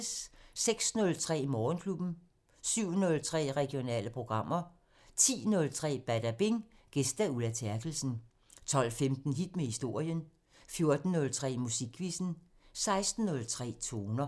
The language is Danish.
06:03: Morgenklubben 07:03: Regionale programmer 10:03: Badabing: Gæst Ulla Terkelsen 12:15: Hit med historien 14:03: Musikquizzen 16:03: Toner